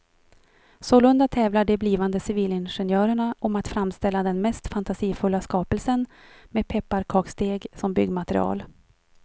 Sålunda tävlar de blivande civilingenjörerna om att framställa den mest fantasifulla skapelsen med pepparkaksdeg som byggmaterial.